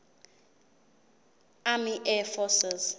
army air forces